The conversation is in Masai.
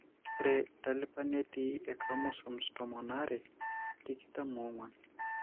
Ore entalipa netii enchromosome tomon aare tikitam oong'uan.